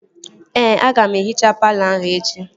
Ee, aga m ehichaa palọ ahụ echi